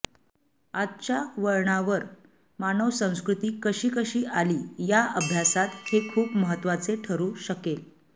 आजच्या वळणावर मानव संस्कृती कशी कशी आली य अभ्यासात हे खूप महत्वाचे ठरू शकेल